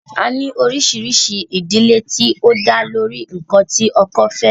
A ní oríṣiríṣi ìdílé tí ó dá lórí ǹkan tí ọkọ fẹ́